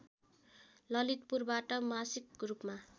ललितपुरबाट मासिक रूपमा